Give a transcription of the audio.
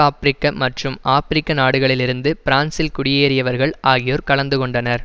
ஆபிரிக்க மற்றும் ஆப்பிரிக்க நாடுகளிலிருந்து பிரான்சில் குடியேறியவர்கள் ஆகியோர் கலந்து கொண்டனர்